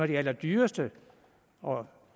de allerdyreste og